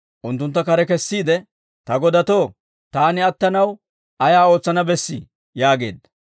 unttuntta kare kessiide, «Ta godatoo, taani attanaw ayaa ootsana bessii?» yaageedda.